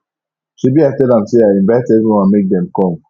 shebi i tell am say i invite everyone make dem come